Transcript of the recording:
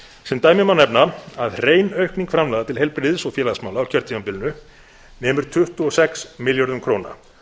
sem dæmi má nefna að hrein aukning framlaga til heilbrigðis og félagsmála á kjörtímabilinu nemur tuttugu og sex milljörðum króna